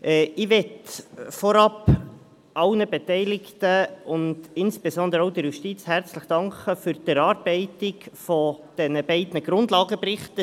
Ich möchte als Erstes allen Beteiligten, und insbesondere auch der Justiz, herzlich danken für die Erarbeitung der beiden Grundlagenberichte.